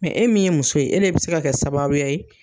Mɛ e min ye muso ye e de bɛ se ka kɛ sababuya ye